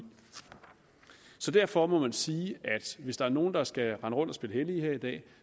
så derfor må man sige at hvis der er nogen der skal rende rundt og spille hellige her i dag